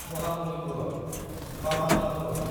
Mahabalipuram (Mamallapuram)